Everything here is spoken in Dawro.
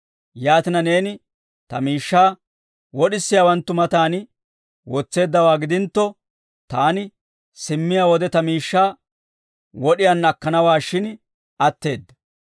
Yaatina, neeni ta miishshaa wod'isiyaawanttu matan wotseeddawaa gidintto, taani simmiyaa wode ta miishshaa wod'iyaanna akkanawaashshin atteedda.